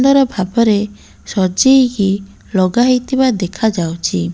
ସୁନ୍ଦର ଭାବରେ ସଜେଇ ହେଇ ଲଗା ହେଇଥିବାର ଦେଖାଯାଉଚି।